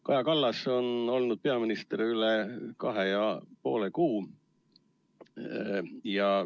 " Kaja Kallas on olnud peaminister üle kahe ja poole kuu.